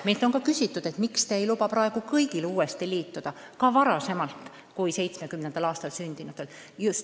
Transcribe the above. Meilt on ka küsitud, miks te ei luba praegu kõigil uuesti liituda, ka enne 1970. aastat sündinutel.